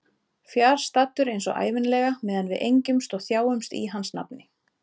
Fjarstaddur eins og ævinlega meðan við engjumst og þjáumst í hans nafni.